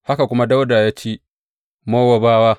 Haka kuma Dawuda ya ci Mowabawa.